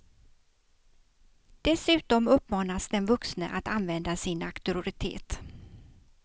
Dessutom uppmanas den vuxne att använda sin auktoritet.